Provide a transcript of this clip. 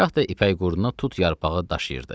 gah da ipək qurduna tut yarpağı daşıyırdı,